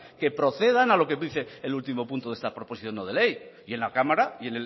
que procedan a lo que dice el último punto de esta proposición no de ley y en la cámara y